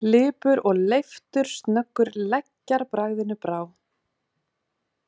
Lipur og leiftursnöggur leggjarbragðinu brá.